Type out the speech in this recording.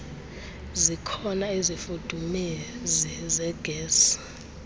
zikhona izifudumezi zegesi